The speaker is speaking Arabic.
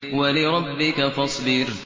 وَلِرَبِّكَ فَاصْبِرْ